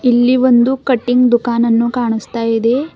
ಇಲ್ಲಿ ಒಂದು ಕಟಿಂಗ್ ದುಖಾನನ್ನು ಕಾಣುಸ್ತಾ ಇದೆ.